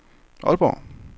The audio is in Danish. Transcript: Aalborg